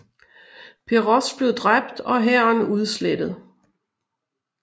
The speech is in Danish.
Peroz blev dræbt og hæren udslettet